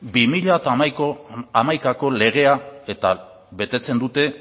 bi mila hamaikaeko legea eta betetzen dute